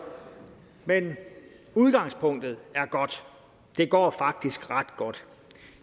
men udgangspunktet er godt det går faktisk ret godt